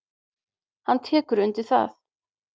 Hann tekur undir það.